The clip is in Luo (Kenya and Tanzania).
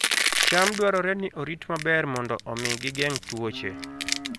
cham dwarore ni orit maber mondo omi gigeng' tuoche